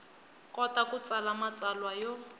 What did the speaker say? kota ku tsala matsalwa yo